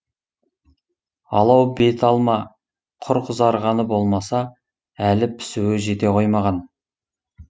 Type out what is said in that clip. алау бет алма құр қызарғаны болмаса әлі пісуі жете қоймаған